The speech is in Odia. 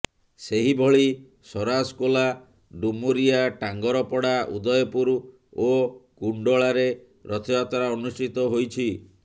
ସେହିଭଳି ସରାସ କୋଲା ଡୁମୁରିଆ ଟାଙ୍ଗରପଡା ଉଦୟପୁର ଓ କୁଣ୍ଡଳାରେ ରଥଯାତ୍ରା ଅନୁଷ୍ଠିତ ହୋଇଛି